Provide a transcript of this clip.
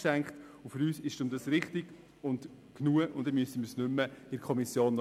Für uns ist das richtig und ausreichend.